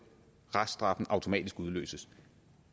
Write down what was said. reststraffen automatisk udløses